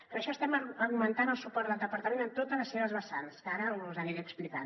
per això estem augmentant el suport del departament en totes les seves vessants que ara us aniré explicant